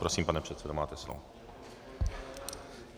Prosím, pane předsedo, máte slovo.